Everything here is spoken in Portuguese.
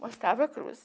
Mostrava a cruz.